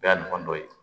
O y'a ɲɔgɔn dɔ ye